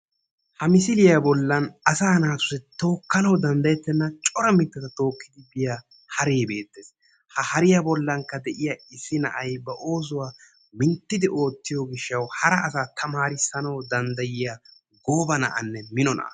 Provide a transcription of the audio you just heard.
Ha misiliya bollaan asaa naatussi tookkanawu danddayettenna cora mittata tookkidi biya haree beettes. Ha hariya bollankka de"iya issi na'ay ba oosuwa minttidi oottiyo gishshawu hara asaa tamaarissanawu danddayiya gooba na'anne mino na'a.